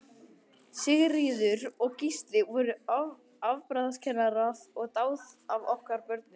Sigríður og Gísli voru afbragðskennarar og dáð af okkur börnunum.